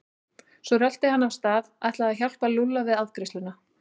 Svo rölti hann af stað, ætlaði að hjálpa Lúlla við afgreiðsluna.